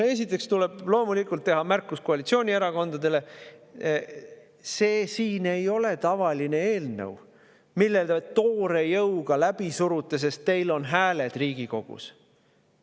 Esiteks tuleb loomulikult teha märkus koalitsioonierakondadele: see siin ei ole tavaline eelnõu, mille te toore jõuga läbi surute, sest teil on hääled Riigikogus.